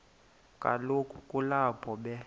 kaloku kulapho be